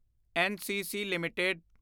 NCC LTD